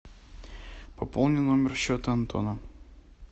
пополни номер счета антона